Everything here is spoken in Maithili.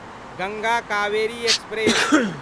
गंगा कावेरी एक्सप्रेस